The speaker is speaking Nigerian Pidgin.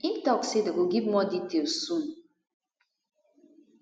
im tok say dem go give more details soon